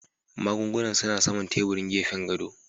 Magungunan suna saman teburin gefen gado